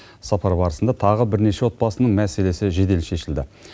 сапар барысында тағы бірнеше отбасының мәселесі жедел шешілді